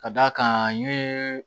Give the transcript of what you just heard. Ka d'a kan n ye